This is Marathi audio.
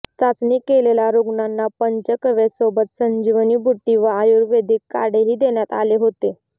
चाचणी केलेल्या रुग्णांना पंचकव्यसोबतच संजीवनी बुटी व आयुर्वेदिक काढेही देण्यात आले होते